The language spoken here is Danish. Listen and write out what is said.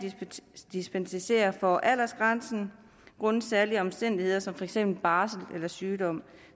dispensere fra aldersgrænsen grundet særlige omstændigheder som for eksempel barsel eller sygdom